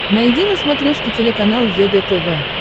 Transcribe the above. найди на смотрешке телеканал егэ тв